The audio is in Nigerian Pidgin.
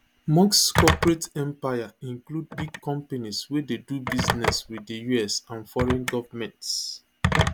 musk corporate empire include big companies wey dey do business wit di us and foreign goments